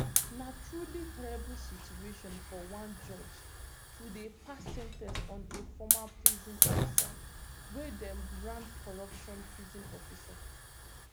na truly terrible situation for one judge to dey pass sen ten ce on a former prison officer wey dem brand corrupt prison officer